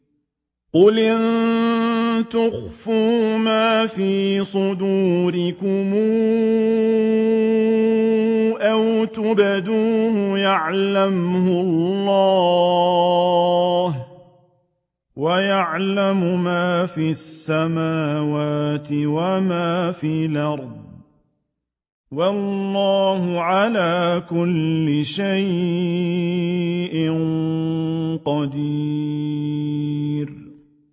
قُلْ إِن تُخْفُوا مَا فِي صُدُورِكُمْ أَوْ تُبْدُوهُ يَعْلَمْهُ اللَّهُ ۗ وَيَعْلَمُ مَا فِي السَّمَاوَاتِ وَمَا فِي الْأَرْضِ ۗ وَاللَّهُ عَلَىٰ كُلِّ شَيْءٍ قَدِيرٌ